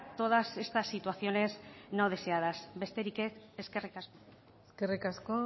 todas estas situaciones no deseadas besterik ez eskerrik asko eskerrik asko